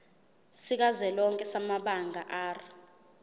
sikazwelonke samabanga r